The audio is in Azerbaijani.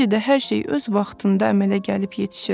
Necə də hər şey öz vaxtında əmələ gəlib yetişir.